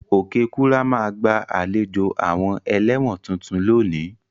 Okekura ma gba àlejò àwon eléwòn tuntun lónìí